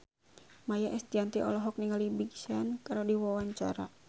Maia Estianty olohok ningali Big Sean keur diwawancara